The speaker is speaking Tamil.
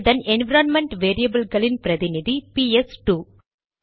இதன் என்விரான்மென்ட் வேரியபில்களின் பிரதிநிதி பிஎஸ் இரண்டுPS2